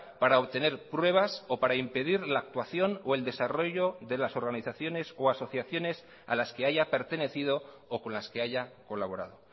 para obtener pruebas o para impedir la actuación o el desarrollo de las organizaciones o asociaciones a las que haya pertenecido o con las que haya colaborado